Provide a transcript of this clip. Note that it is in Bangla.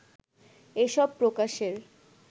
এসব প্রকাশের